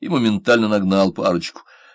и моментально нагнал парочку